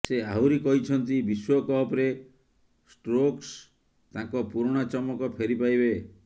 ସେ ଆହୁରି କହିଛନ୍ତି ବିଶ୍ବକପରେ ଷ୍ଟୋକ୍ସ ତାଙ୍କ ପୁରୁଣା ଚମକ ଫେରି ପାଇବେ